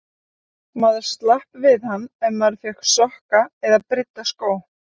Maður slapp við hann ef maður fékk sokka eða brydda skó.